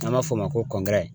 An b'a fɔ o ma ko